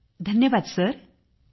समूह स्वर धन्यवाद सर